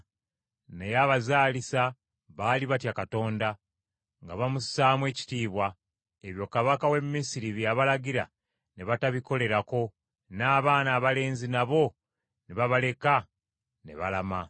Naye abazaalisa baali batya Katonda, nga bamussaamu ekitiibwa, ebyo kabaka w’e Misiri bye yabalagira ne batabikolerako, n’abaana abalenzi nabo ne babaleka ne balama.